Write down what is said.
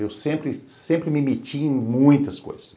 Eu sempre sempre me metia em muitas coisas.